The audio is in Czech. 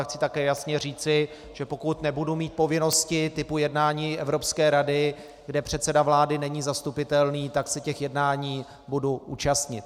A chci také jasně říci, že pokud nebudu mít povinnosti typu jednání Evropské rady, kde předseda vlády není zastupitelný, tak se těch jednání budu účastnit.